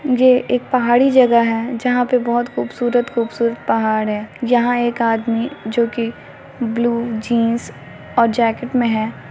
ये एक पहाड़ी जगह है जहां पे बहुत खूबसूरत-खूबसूरत पहाड़ है यहां एक आदमी जो कि ब्लू जीन्स और जैकेट में है।